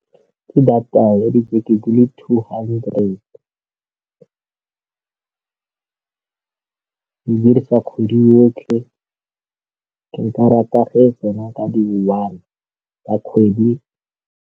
Ke data ya dibeke di le two hundred, ke dirisa kgwedi yotlhe, ke ka rata ge tsena ka di-one tsa kgwedi.